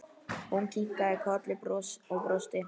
Hún kinkaði kolli og brosti.